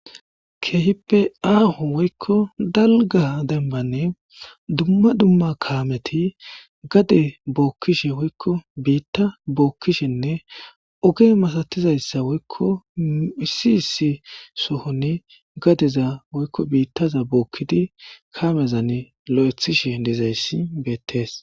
Keehippe aaho woy dalga dembani dumma dumma kaameti gade bookishe woyko biita bookishenne oge masatizaysa woyko issi issi sohon gadeza woyko biitaza bookidi kaamezani lo'ethishe dizaysi beetesi